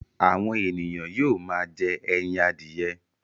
Àwọn ènìyàn yóò máa jẹ́ ẹyin adìye.